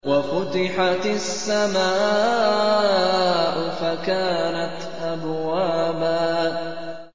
وَفُتِحَتِ السَّمَاءُ فَكَانَتْ أَبْوَابًا